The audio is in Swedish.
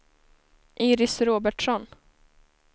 Iris Robertsson